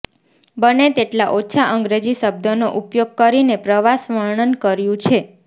બને તેટલા ઓછા અંગ્રેજી શબ્દોનો ઉપયોગ કરીને પ્રવાસ વર્ણન કર્યું છે